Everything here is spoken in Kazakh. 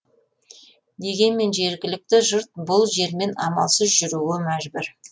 дегенмен жергілікті жұрт бұл жермен амалсыз жүруге мәжбүр